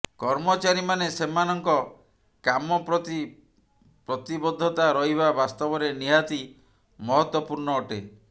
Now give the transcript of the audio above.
କର୍ମଚାରୀମାନେ ସେମାନଙ୍କ କାମ ପ୍ରତି ପ୍ରତିବଦ୍ଧତା ରହିବା ବାସ୍ତବରେ ନିହାତୀ ମହତ୍ବପୂର୍ଣ୍ଣ ଅଟେ